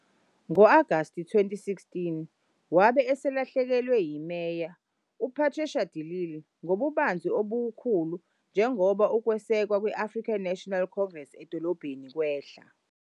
Ngo-Agasti 2016, wabe eselahlekelwa yiMeya, uPatricia de Lille, ngobubanzi obukhulu njengoba ukwesekwa kwe-African National Congress edolobheni kwehla.